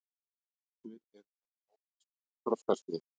Ef til vill eru þær á mismunandi þroskaskeiði.